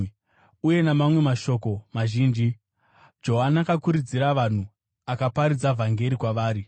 Uye namamwe mashoko mazhinji, Johani akakurudzira vanhu akaparidza vhangeri kwavari.